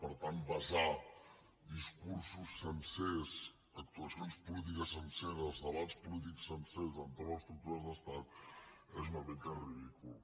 per tant basar discursos sencers actuacions polítiques senceres debats polítics sencers entorn d’estructures d’estat és una mica ridícul